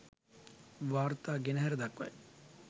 වාර්තා ගෙනහැර දක්වයි